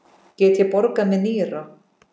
Get ég borgað með nýra?